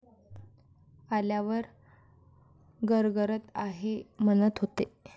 आल्यावर गरगरत आहे म्हणत होते.